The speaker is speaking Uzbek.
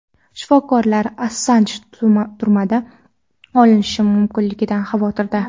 Shifokorlar Assanj turmada o‘lishi mumkinligidan xavotirda .